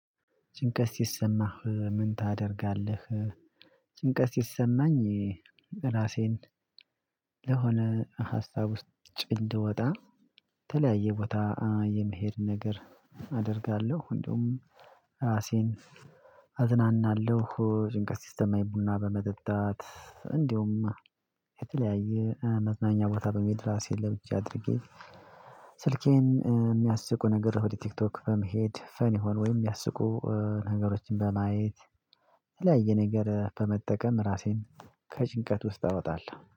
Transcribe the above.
ጭንቀት ሲሰማህ ምን ታደርጋለህ? ጭንቀት ሲሰማኝ ራሴን ለሆነ ሀሳብ ውስጥ እንድወጣ ተለያየ ቦታ የመሄድ ነገር አደርጋለሁ እንደውም ራሴን አዝናናለሁ ጭንቀት ሲስተም አይቡና በመጠጣት እንዲሁም የተለያየ መዝናኛ ቦታ በሚል ራሴን ለብቻ አድርጌ ስልኬን ሚያስቁ ነገር ወደ ቲክቶክ በመሄድ ፈን ይሆን ወይም የሚያስቁ ነገሮችን በማየት የተለያየ ነገር በመጠቀም ራሴን ከጭንቀት ውስጥ አወጣለሁ።